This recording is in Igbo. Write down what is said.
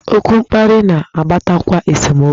Okwu mkparị na-akpatakwa esemokwu.